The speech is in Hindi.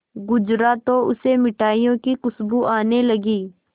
गुजरा तो उसे मिठाइयों की खुशबू आने लगी